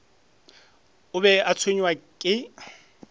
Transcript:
a be a tshwenywa ke